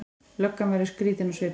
Löggan verður skrýtin á svipinn.